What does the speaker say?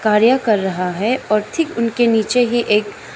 कार्य कर रहा है और ठीक उनके नीचे ही एक--